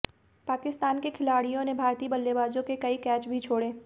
पाकिस्तान के खिलाड़ियों ने भारतीय बल्लेबाज़ों के कई कैच भी छोड़े